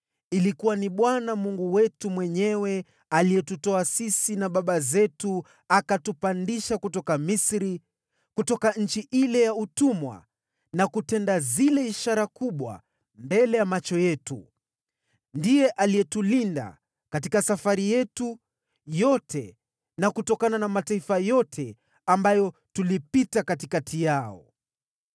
Bwana Mungu wetu mwenyewe ndiye alitutoa sisi na baba zetu akatupandisha kutoka Misri, kutoka nchi ile ya utumwa, na kutenda zile ishara kubwa mbele ya macho yetu. Ndiye aliyetulinda katika safari yetu yote na kutokana na mataifa yote ambayo tulipita katikati yao.